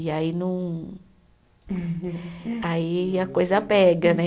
E aí não. Aí a coisa pega, né?